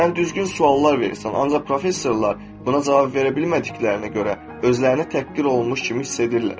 Sən düzgün suallar verirsən, ancaq professorlar buna cavab verə bilmədiklərinə görə özlərini təhqir olunmuş kimi hiss edirlər.